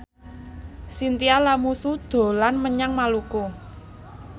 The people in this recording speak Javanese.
Chintya Lamusu dolan menyang Maluku